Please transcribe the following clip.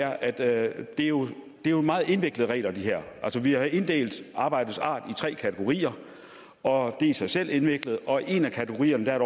at det her jo er meget indviklede regler vi har inddelt arbejdets art i tre kategorier og det er i sig selv indviklet og i en af kategorierne er